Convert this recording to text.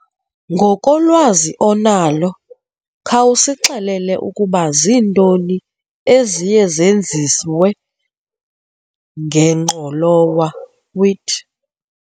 Ngokolwazi onalo, khawusixelele ukuba zintoni eziye zenziwe ngengqolowa, wheat.